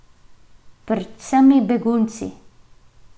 Pred vsemi begunci.